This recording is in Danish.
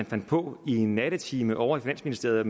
fandt på en nattetime ovre i finansministeriet